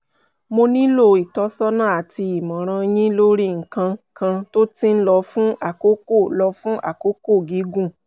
mo nílò ìtọ́sọ́nà àti ìmọ̀ràn yín lórí nǹkan kan tó ti ń lọ fún àkókò lọ fún àkókò gígùn